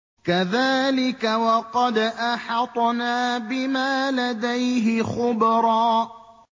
كَذَٰلِكَ وَقَدْ أَحَطْنَا بِمَا لَدَيْهِ خُبْرًا